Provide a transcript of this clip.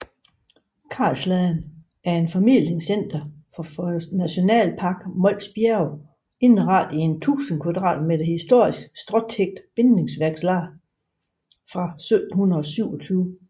Karlsladen er et formidlingscenter for Nationalpark Mols Bjerge indrettet i en 1000 kvadratmeter historisk stråtækket bindingsværkslade fra 1727